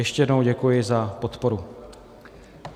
Ještě jednou děkuji za podporu.